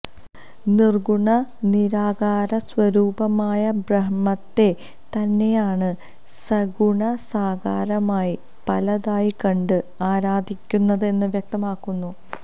നിര്ഗുണ നിരാകാര സ്വരൂപമായ ബ്രഹ്മത്തെ തന്നെയാണ് സഗുണ സാകാരമായി പലതായി കണ്ട് ആരാധിക്കുന്നത് എന്ന് വ്യക്തമാക്കുന്നു